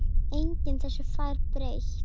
Enginn þessu fær breytt.